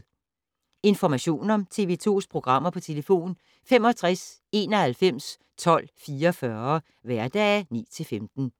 Information om TV 2's programmer: 65 91 12 44, hverdage 9-15.